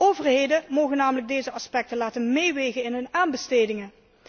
Overheden mogen namelijk deze aspecten laten meewegen in hun aanbestedingen.